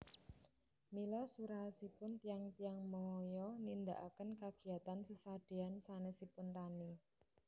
Mila suraosipun tiyang tiyang Maya nindakaken kagiyatan sesadeyan sanesipun tani